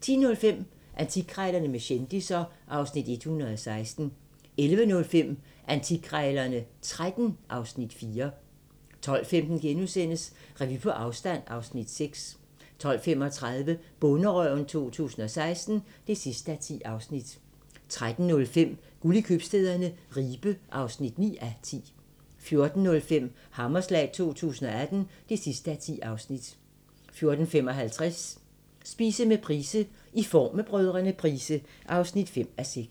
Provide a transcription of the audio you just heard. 10:05: Antikkrejlerne med kendisser (Afs. 116) 11:05: Antikkrejlerne XIII (Afs. 4) 12:15: Revy på afstand (Afs. 6)* 12:35: Bonderøven 2016 (10:10) 13:05: Guld i købstæderne - Ribe (9:10) 14:05: Hammerslag 2018 (10:10) 14:55: Spise med Price: "I form med Brdr. Price" (5:6)